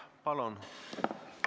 Palun!